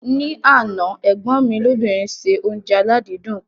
Ní àná, ẹ̀gbọ́n mi lóbìnrin ṣe oúnjẹ aládìídùn kan.